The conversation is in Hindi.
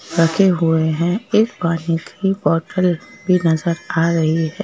रखे हुए हैं एक पानी की बॉटल भी नजर आ रही है।